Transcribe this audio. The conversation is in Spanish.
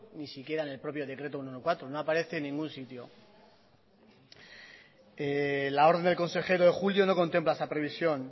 ni siquiera en el propio decreto ciento catorce no aparece en ningún sitio la orden del consejero de julio no contempla esa previsión